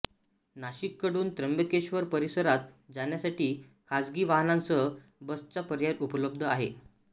नाशिकहून त्र्यंबकेश्वर परिसरात जाण्यासाठी खासगी वाहनांसह बसचा पर्याय उपलब्ध आहे